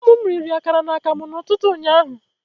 Ụmụ m riri akara na akamụ n'ụtụtụ ụnyaahụ